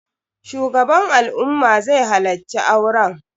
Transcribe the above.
Shugaban al'umma zai halacci auren